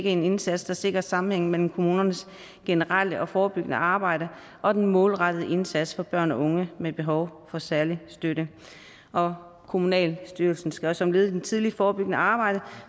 en indsats der sikrer sammenhæng mellem kommunernes generelle og forebyggende arbejde og den målrettede indsats for børn og unge med behov for særlig støtte og kommunalbestyrelsen skal også som led i det tidlige forebyggende arbejde